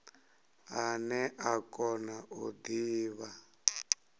ane a kona u divha